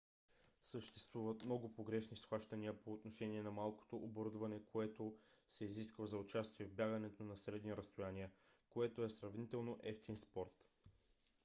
съществуват много погрешни схващания по отношение на малкото оборудване което се изисква за участие в бягането на средни разстояния което е сравнително евтин спорт